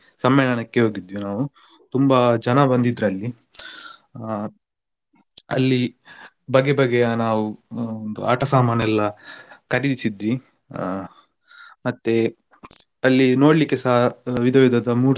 ಸಮ್ಮೇಳನಕ್ಕೆ ಹೋಗಿದ್ವಿ ನಾವು ತುಂಬಾ ಜನ ಬಂದಿದ್ರು ಅಲ್ಲಿ ಆಹ್ ಅಲ್ಲಿ ಬಗೆ ಬಗೆಯ ನಾವು ಆಟ ಸಾಮಾನ್ ಎಲ್ಲಾ ಖರೀದಿಸಿದ್ವಿ ಆ ಮತ್ತೆ ಅಲ್ಲಿ ನೋಡ್ಲಿಕ್ಕೆಸ ವಿಧ ವಿಧದ ಮೂರ್ತಿ.